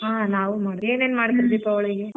ಹ್ಮ್ ನಾವು ಮಾಡ್ತೀವಿ ಏನೇನ್ ಮಾಡ್ತೀರಾ ದೀಪಾವಳಿಗೆ?.